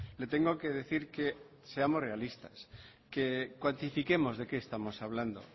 le tengo que decir que seamos realistas que cuantifiquemos de qué estamos hablando